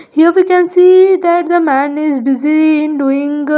Here we can see that the man is busy in doing --